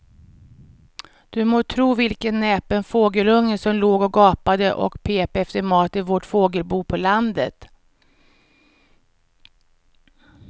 Du må tro vilken näpen fågelunge som låg och gapade och pep efter mat i vårt fågelbo på landet.